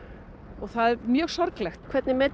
og það er mjög sorglegt hvernig metur